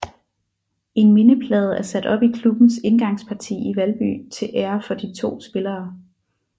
En mindeplade er sat op i klubbens indgangsparti i Valby til ære for de to spillere